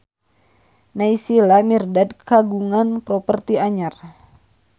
Naysila Mirdad kagungan properti anyar